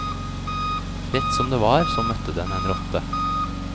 Rett som det var, så møtte den en rotte.